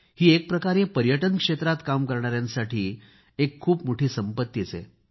ही एकप्रकारे पर्यटन क्षेत्रात काम करणाऱ्यांासाठी एक खूप मोठी ठवे आहे